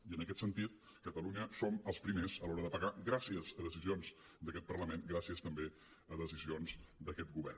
i en aquest sentit catalunya som els primers a l’hora de pagar gràcies a decisions d’aquest parlament gràcies també a decisions d’aquest govern